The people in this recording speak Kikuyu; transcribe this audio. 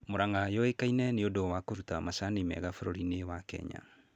Mũrang'a yũĩkaine nĩũndũ wa kũruta macani mega bũrũri wa kenya